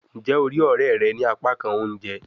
Njẹ o rii ọrẹ rẹ ni apakan ounjẹ?